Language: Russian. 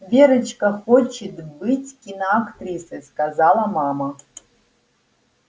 верочка хочет быть киноактрисой сказала мама